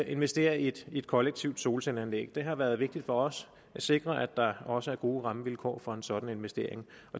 investerer i et et kollektivt solcelleanlæg det har været vigtigt for os at sikre at der også er gode rammevilkår for en sådan investering